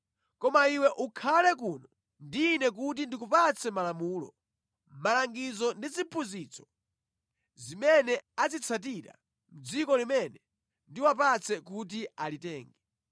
Koma iwe ukhale kuno ndi ine kuti ndikupatse malamulo, malangizo ndi ziphunzitso zimene azitsatira mʼdziko limene ndiwapatse kuti alitenge.”